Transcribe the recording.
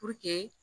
Puruke